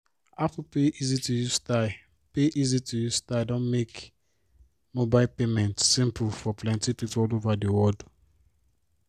apple pay easy-to-use style pay easy-to-use style don make mobile payment simple for plenty people all over the world.